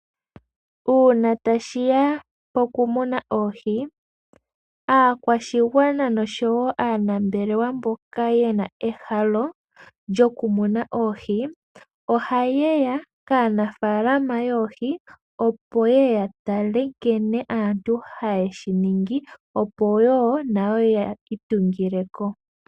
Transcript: Uuna tashi ya pokumuna oohi, aakwashigwana noshowo aanambelewa mboka yena ehalo lyokumuna oohi, oha yeya kaanafalama yoohi opo yeye ya tale nkene aantu haye shi ningi, opo wo nayo ya itungileko.